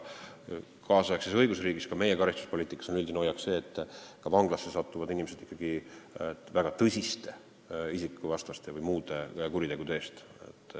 Kaasaegses õigusriigis ja ka meie karistuspoliitikas on üldine hoiak see, et vanglasse satuvad inimesed väga tõsiste isikuvastaste või muude kuritegude eest.